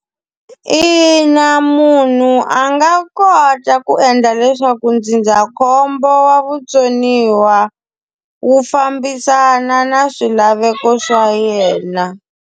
Ina, munhu a nga kota ku endla leswaku ndzindzakhombo wa vutsoniwa, wu fambisana na swilaveko swa yena.